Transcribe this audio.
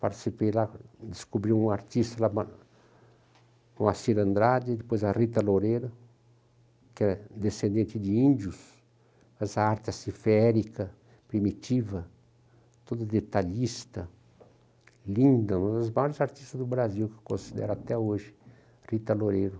Participei lá, e descobri um artista lá, o Assir Andrade, depois a Rita Loureiro, que é descendente de índios, mas a arte aciférica, primitiva, toda detalhista, linda, uma das maiores artistas do Brasil, que eu considero até hoje, Rita Loureiro.